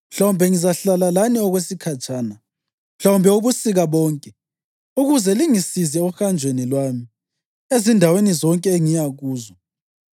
Mhlawumbe ngizahlala lani okwesikhatshana, mhlawumbe ubusika bonke, ukuze lingisize ohanjweni lwami, ezindaweni zonke engiya kuzo.